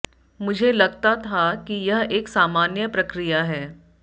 मुझे लगता था कि यह एक सामान्य प्रक्रिया है